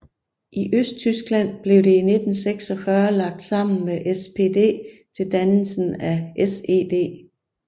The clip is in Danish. I Østtyskland blev det i 1946 lagt sammen med SPD til dannelsen af SED